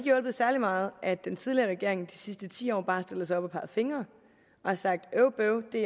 hjulpet særlig meget at den tidligere regering de sidste ti år bare har stillet sig op og peget fingre og har sagt øv bøv det